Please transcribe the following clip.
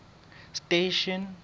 station